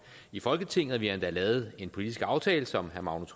i folketinget og vi har endda lavet en politisk aftale som herre magnus